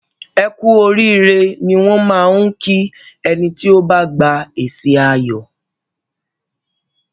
Ẹ kú oríire ni wọn máá ń kí ẹni tí ó bá gba èsì ayọ̀